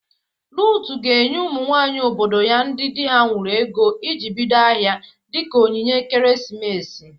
Ruth ga-enye ụmụ nwaanyị obodo ya ndị dị ha nwuru ego iji bido ahịa. dịka onyinye ekeresimesi.